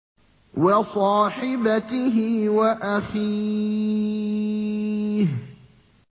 وَصَاحِبَتِهِ وَأَخِيهِ